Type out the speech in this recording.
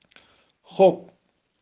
хоп